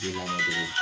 Den man bon